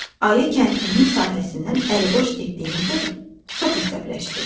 Ayı kəndlinin sahəsindən əliboş getdiyinə görə çox əsəbləşdi.